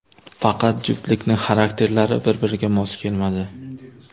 Faqat juftlikning xarakterlari bir-biriga mos kelmadi.